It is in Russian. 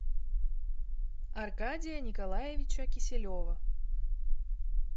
аркадия николаевича киселева